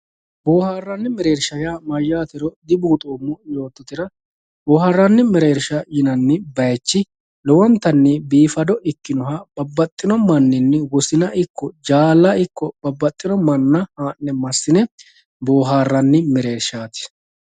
boohaarranni mereersha yaa mayyaatero dibuuxoommo yoottotera boohaarranni mereersha yinanni bayiichi lowontanni biifado ikkinoha babbaxxino manninni wosina ikko jaala ikko babbaxxino manna haa'ne massine boohaarranni mereershaati